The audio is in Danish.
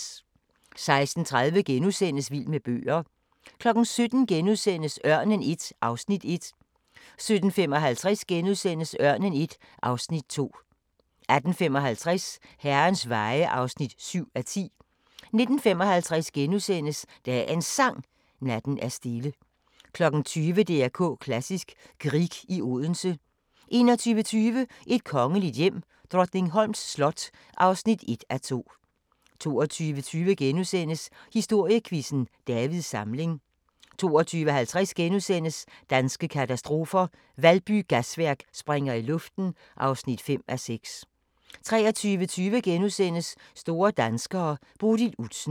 16:30: Vild med bøger * 17:00: Ørnen I (Afs. 1)* 17:55: Ørnen I (Afs. 2)* 18:55: Herrens Veje (7:10) 19:55: Dagens Sang: Natten er stille * 20:00: DR K Klassisk: Grieg i Odense 21:20: Et kongeligt hjem: Drottningholms slot (1:2) 22:20: Historiequizzen: Davids Samling * 22:50: Danske katastrofer – Valby Gasværk springer i luften (5:6)* 23:20: Store danskere: Bodil Udsen *